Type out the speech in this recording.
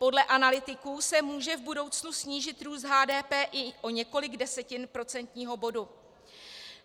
Podle analytiků se může v budoucnu snížit růst HDP i o několik desetin procentního bodu.